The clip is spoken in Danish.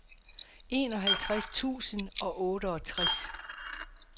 enoghalvtreds tusind og otteogtres